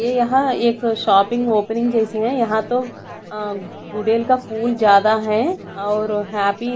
ये यहाँ एक शॉपिंग ओपनिंग जैसी है यहाँ तो अ गुडेल का फूल ज्यादा है और यहाँ भी--